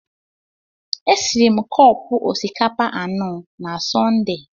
E siri m cọpu osikapa anọ na Sọnde.